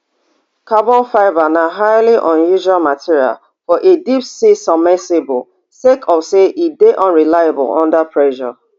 carbon fibre na highly unusual material for a deep sea submersible sake of say e dey unreliable under pressure